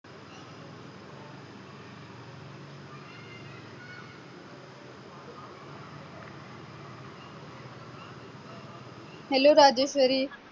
hello Rajeshwari